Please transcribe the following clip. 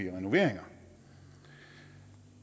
renoveringer